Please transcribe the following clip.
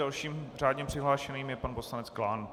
Dalším řádně přihlášeným je pan poslanec Klán.